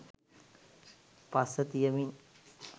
පස්ස තියමින්